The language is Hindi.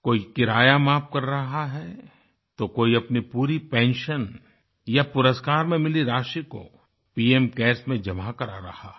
कोई किराया माफ़ कर रहा है तो कोई अपनी पूरी पेंशन या पुरस्कार में मिली राशि को पीएम केयर्स में जमा करा रहा है